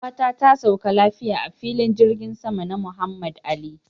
Yar'uwata ta sauka lafiya a filin jirgin sama na Muhammad Ali.